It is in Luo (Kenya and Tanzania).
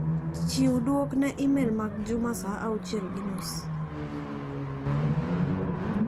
Chiw duok ne imel mag Juma sa auchiel gi nus.